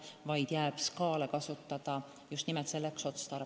Nendele inimestele tagatakse kindlustuskaitse haigekassas vabanevate vahendite abil.